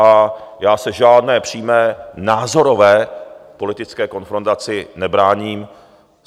A já se žádné přímé názorové politické konfrontaci nebráním.